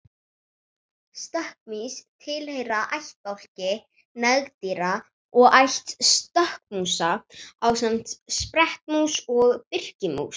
stökkmýs tilheyra ættbálki nagdýra og ætt stökkmúsa ásamt sprettmúsum og birkimús